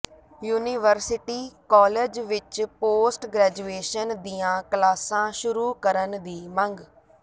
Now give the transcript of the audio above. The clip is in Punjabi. ਯੂਨੀਵਰਸਿਟੀ ਕਾਲਜ ਵਿੱਚ ਪੋਸਟ ਗ੍ਰੈਜੂਏਸ਼ਨ ਦੀਆਂ ਕਲਾਸਾਂ ਸ਼ੁਰੂ ਕਰਨ ਦੀ ਮੰਗ